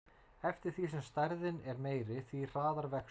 Eftir því sem stærðin er meiri, því hraðar vex hún.